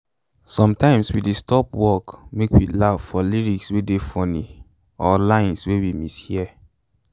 sometimes we dey stop work make we laugh for lyrics wey dey funny or lines wey we mishear